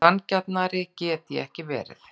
Sanngjarnari get ég ekki verið.